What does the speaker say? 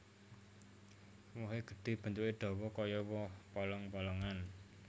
Wohé gedhé bentuké dawa kaya woh polong polongan